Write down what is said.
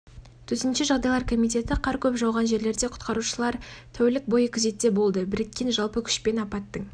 төтенше жағдайлар комитеті қар көп жауған жерлерде құтқарушылар тәулік бойы күзетте болды біріккен жалпы күшпен апаттың